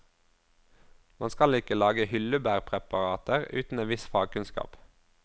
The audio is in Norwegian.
Man skal ikke lage hyllebærpreparater uten en viss fagkunnskap.